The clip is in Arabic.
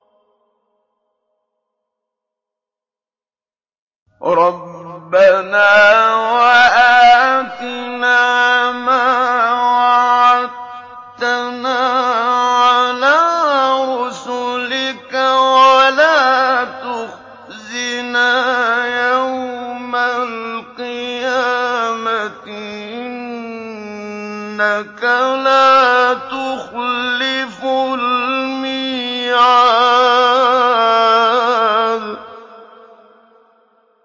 رَبَّنَا وَآتِنَا مَا وَعَدتَّنَا عَلَىٰ رُسُلِكَ وَلَا تُخْزِنَا يَوْمَ الْقِيَامَةِ ۗ إِنَّكَ لَا تُخْلِفُ الْمِيعَادَ